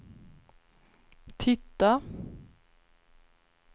titta